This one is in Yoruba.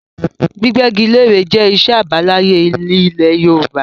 Gbígbẹ́gilẹ́re jẹ́ iṣẹ́ àbáláyé ilẹ̀ Yorùbá